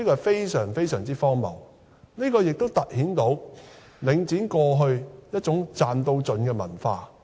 這是非常荒謬的，也突顯了領展過去一種"賺到盡"的文化。